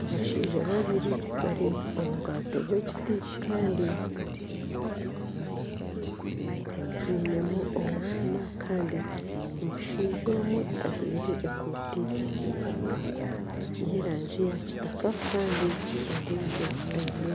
Abashaija babiri bari omu bwato bw'ekiti kandi bainemu omwana kandi omushaija omwe ajwire ekooti y'erangi yakitaka kandi ondiijo aine